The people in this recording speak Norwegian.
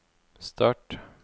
start